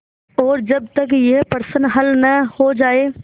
और जब तक यह प्रश्न हल न हो जाय